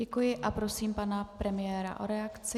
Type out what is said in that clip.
Děkuji a prosím pana premiéra o reakci.